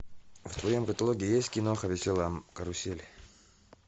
в твоем каталоге есть кино веселая карусель